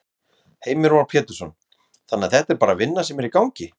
Heimir Már Pétursson: Þannig að þetta er bara vinna sem er í gangi?